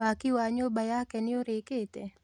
Waki wa nyũmba yake nĩũrĩkĩte